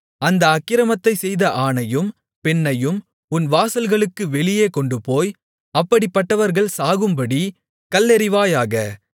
அந்த அக்கிரமத்தைச்செய்த ஆணையும் பெண்ணையும் உன் வாசல்களுக்கு வெளியே கொண்டுபோய் அப்படிப்பட்டவர்கள் சாகும்படி கல்லெறிவாயாக